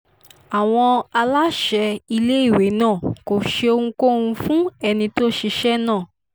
àwọn aláṣẹ iléèwé náà kò ṣe ohunkóhun fún ẹni tó ṣiṣẹ́ náà